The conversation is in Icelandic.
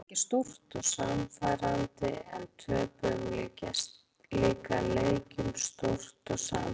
Við unnum marga leiki stórt og sannfærandi en töpuðum líka leikjum stórt og sannfærandi.